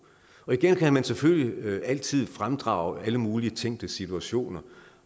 igen kan man selvfølgelig altid fremdrage alle mulige tænkte situationer